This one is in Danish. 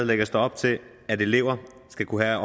lægges der op til at elever skal kunne have